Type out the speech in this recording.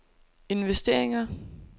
investeringer